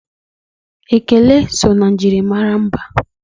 Ekele so na njirimara mba.